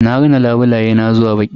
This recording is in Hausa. Na rina labulaye na zuwa baƙi.